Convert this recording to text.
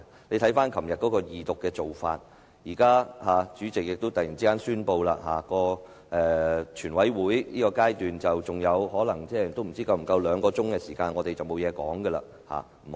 你可以回看昨天處理二讀的做法，現在你又突然宣布全體委員會審議階段餘下可能不足兩小時，之後我們便不能再發言。